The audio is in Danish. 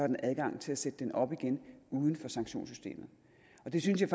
den adgang til at sætte den op igen uden for sanktionssystemet og det synes jeg